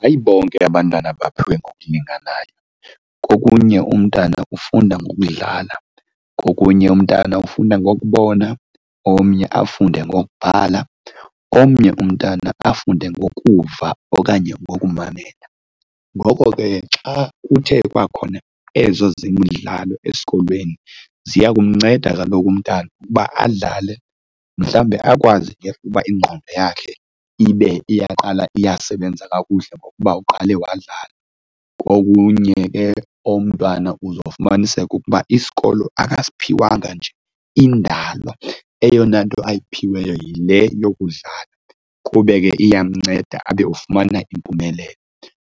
Hayi bonke abantwana baphiwe ngokulinganayo, kokunye umntana ufunda ngokudlala, kokunye umntana ufunda ngokubona omnye afunde ngokubhala, omnye umntwana afunde ngokuva okanye ngokumamela. Ngoko ke xa kuthe kwakhona ezo zemidlalo esikolweni ziya kumnceda kaloku umntana ukuba adlale mhlawumbe akwazi ukuba ingqondo yakhe ibe iyaqala iyasebenza kakuhle ngokuba uqale wadlala. Kokunye ke umntwana uzofumanisa ukuba isikolo ukasiphiwanga nje indalo, eyona nto ayiphiweyo yile yokudlala, kube ke iyamnceda abe ufumana impumelelo.